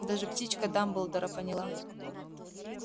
даже птичка дамблдора поняла